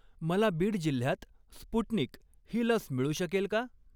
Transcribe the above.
मला बीड जिल्ह्यात स्पुटनिक ही लस मिळू शकेल का?